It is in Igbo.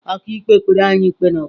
Ọkàikpe kpere anyị ikpe n’ụtụtụ a.